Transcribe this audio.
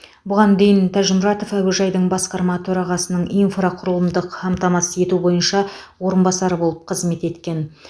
бұған дейін тәжімұратов әуежайдың басқарма төрағасының инфрақұрылымдық қамтамасыз ету бойынша орынбасары болып қызмет еткен